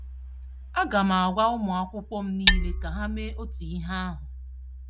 A ga m agwa ụmụ akwụkwọ m niile ka ha mee otú ihe ahụ